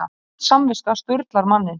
Vond samviska sturlar manninn.